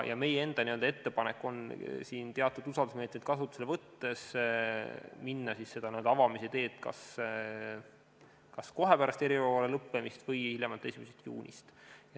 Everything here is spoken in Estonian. Meie enda ettepanek on minna teatud usaldusmeetmeid kasutusele võttes avamise teed kas kohe pärast eriolukorra lõppemist või hiljemalt 1. juunist.